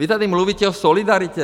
Vy tady mluvíte o solidaritě.